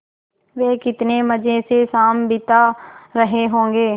वे कितने मज़े से शाम बिता रहे होंगे